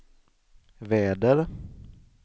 väder